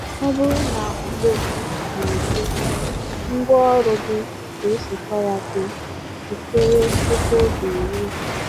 Ọ bụrụ na ugbo gị na-eto, ngwaọrụ gị ga-esokwa ya too. Jikere tupu oge eruo.